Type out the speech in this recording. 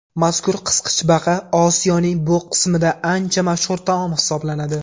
Mazkur qisqichbaqa Osiyoning bu qismida ancha mashhur taom hisoblanadi.